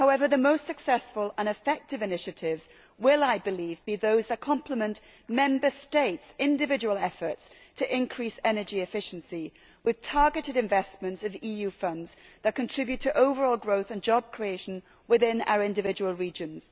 The most successful and effective initiatives will, I believe, be those that complement Member States' individual efforts to increase energy efficiency with targeted investments of EU funds that contribute to overall growth and job creation within our individual regions.